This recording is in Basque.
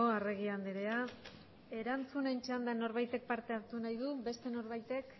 arregi andrea erantzunen txandan norbaitek parte hartu nahi du beste norbaitek